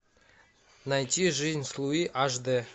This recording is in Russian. найти жизнь с луи аш дэ